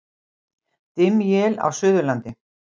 Dimm él á Suðurlandi